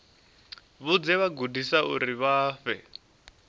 vhudze vhagudiswa uri vha fhe